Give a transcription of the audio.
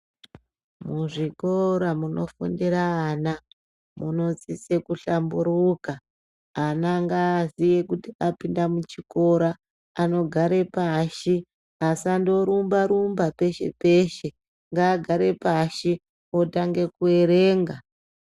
Muzvikora munofundira ana munosise kuhlamburuka ana ngaaziye kuti apinda muchikora anogare pashi asandorumba rumba peshe peshe ngaagare pashi otanga kuerenga.